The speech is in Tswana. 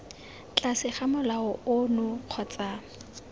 tlase ga molao ono kgotsa